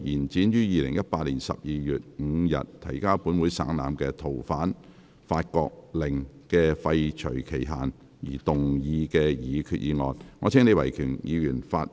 根據《逃犯條例》就延展於2018年12月5日提交本會省覽的《逃犯令》的廢除期限而動議的擬議決議案。